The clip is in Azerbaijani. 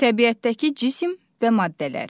Təbiətdəki cisim və maddələr.